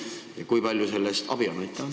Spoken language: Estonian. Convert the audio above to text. Ja kui palju sellest abi on?